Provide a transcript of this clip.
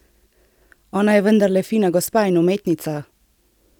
Ona je vendarle fina gospa in umetnica!